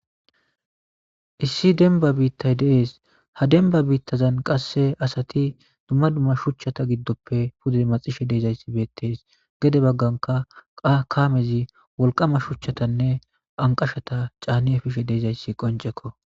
Issi denba biittay dees ha denba biittazan qasse asati dumma dumma shuchchata giddoppe pude maxishe deezayssi beettees gede bagganka kaamezi wolqama shuchchatanne anqashata caani efishe deezayssi qoncekko.